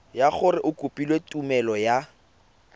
gore o kopile tumelelo ya